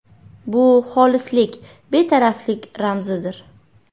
Bu xolislik, betaraflik ramzidir.